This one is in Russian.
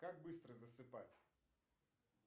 как быстро засыпать